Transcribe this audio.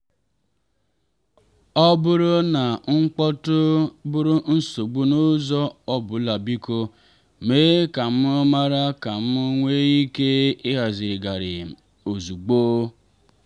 ọ bụrụ na mkpọ́tụ̀ bụrụ nsogbu n'ụzọ ọ bụlabiko mee ka m mara ka m nwee ike ịhazigharị ozugbo.